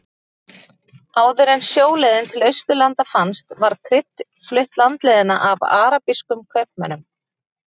Áður en sjóleiðin til Austurlanda fannst var krydd flutt landleiðina af arabískum kaupmönnum.